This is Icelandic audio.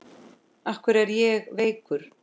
Af hverju er ég veikur?